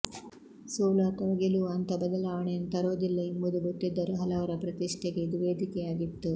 ಸೋಲು ಅಥವಾ ಗೆಲುವು ಅಂಥ ಬದಲಾವಣೆಯನ್ನು ತರುವುದಿಲ್ಲ ಎಂಬುದು ಗೊತ್ತಿದ್ದರೂ ಹಲವರ ಪ್ರತಿಷ್ಠೆಗೆ ಇದು ವೇದಿಕೆಯಾಗಿತ್ತು